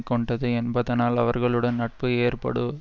கொண்டது என்பதனால் அவர்களுடன் நட்பு ஏற்படு